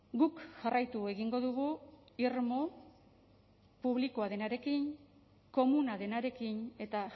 guk jarraitu egingo dugu irmo publikoa denarekin komuna denarekin eta